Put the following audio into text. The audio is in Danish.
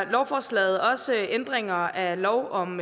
lovforslaget også ændringer af lov om